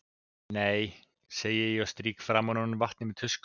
Nei, segi ég og strýk framan úr henni vatnið með tusku.